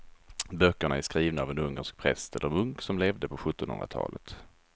Böckerna är skrivna av en ungersk präst eller munk som levde på sjuttonhundratalet.